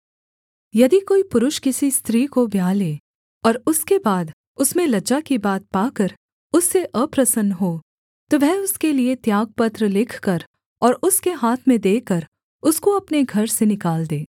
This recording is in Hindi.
यदि कोई पुरुष किसी स्त्री को ब्याह ले और उसके बाद उसमें लज्जा की बात पाकर उससे अप्रसन्न हो तो वह उसके लिये त्यागपत्र लिखकर और उसके हाथ में देकर उसको अपने घर से निकाल दे